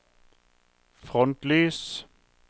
frontlys